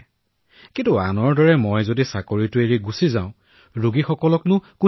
মই কলো মা যদি মই মোৰ চাকৰি এৰি দিও কোনে ৰোগীসকলক গন্তব্যস্থানলৈ প্ৰেৰণ কৰিব কাৰণ এই কৰোনা কালত সকলোৱে পলাই গৈছে